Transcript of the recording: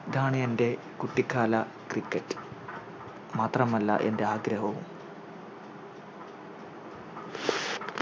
ഇതാണ് എൻറെ കുട്ടിക്കാല Cricket മാത്രമല്ല എൻറെ ആഗ്രഹവും